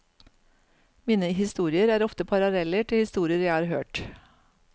Mine historier er ofte paralleller til historier jeg har hørt.